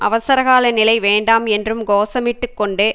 அவசர கால நிலை வேண்டாம் என்றும் கோஷமிட்டுக் கொண்டு